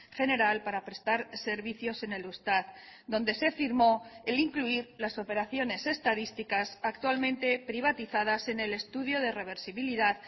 general para prestar servicios en el eustat donde se firmó el incluir las operaciones estadísticas actualmente privatizadas en el estudio de reversibilidad